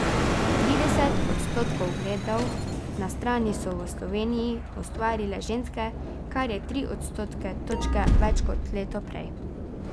Trideset odstotkov ogledov na strani so v Sloveniji ustvarile ženske, kar je tri odstotne točke več kot leto prej.